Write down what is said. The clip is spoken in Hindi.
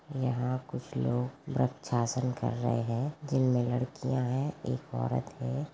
यहाँ कुछ लोग वृक्षासन कर रहे हैं जिन में लड़कियां हैं एक औरत है।